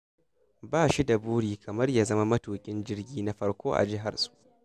Ba shi da buri kamar ya zama matuƙin jirgi na farko a jiharsu